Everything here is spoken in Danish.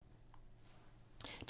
DR2